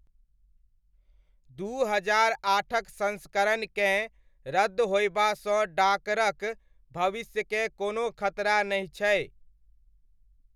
दू हजार आठक संस्करणकेँ रद्द होयबासँ डाकरक भविष्यकेँ कोनो खतरा नहि छै।